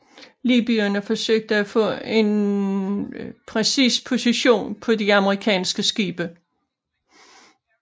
Libyerne forsøgte at få en præcis position på de amerikanske skibe